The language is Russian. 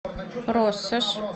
россошь